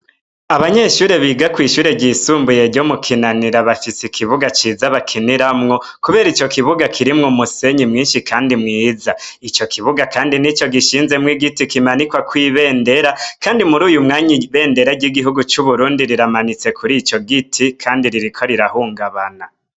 Abanyeshure biga kwi Shure ryisumbuye ryo mu kinanira bafise ikibuga ciza bakiniramwo Kubera ico kibuga kirimwo umusenyi mwinshi kandi mwiza ico kibuga kandi nico gishinzemwo igiti kimanikwako ibendera Kandi muri uyumwanya ibendera ryigihugu cuburundi riramanitse kuri ico giti Kandi ririko rirahungabana.